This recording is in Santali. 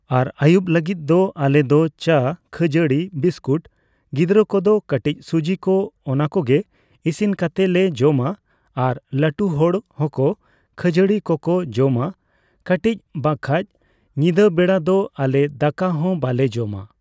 ᱟᱨ ᱟᱭᱩᱵ ᱞᱟᱹᱜᱤᱫ ᱫᱚ ᱟᱞᱮᱫᱚ ᱪᱟ, ᱠᱷᱟᱹᱡᱟᱹᱲᱤ, ᱵᱤᱥᱠᱩᱴ ᱜᱤᱫᱽᱨᱟᱹ ᱠᱚᱫᱚ ᱠᱟᱹᱴᱤᱪ ᱥᱩᱡᱤ ᱠᱚ ᱚᱱᱟ ᱠᱚᱜᱮ ᱿ ᱤᱥᱤᱱ ᱠᱟᱛᱮᱞᱮ ᱡᱚᱢᱟ ᱟᱨ ᱞᱟᱹᱴᱩ ᱦᱚᱲ ᱦᱚᱸᱠᱚ ᱠᱷᱟᱹᱡᱟᱹᱲᱤ ᱠᱚᱠᱚ ᱡᱚᱢᱟ ᱠᱟᱹᱴᱤᱪ ᱵᱟᱠᱷᱟᱡ ᱧᱤᱫᱟᱹ ᱵᱮᱲᱟ ᱫᱚ ᱟᱞᱮ ᱫᱟᱠᱟ ᱦᱚᱸ ᱵᱟᱞᱮ ᱡᱚᱢᱟ ᱾